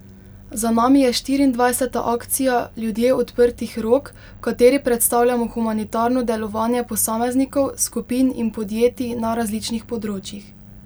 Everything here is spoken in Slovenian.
Za nami je štiriindvajseta akcija Ljudje odprtih rok, v kateri predstavljamo humanitarno delovanje posameznikov, skupin in podjetij na različnih področjih.